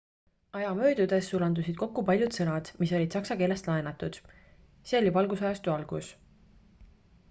aja möödudes sulandusid kokku paljud sõnad mis olid saksa keelest laenatud see oli valgustusajastu algus